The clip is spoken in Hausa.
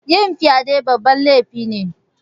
Yin fyaɗe babban lefi ne